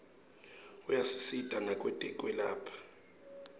ayasisita nakwetekwelapha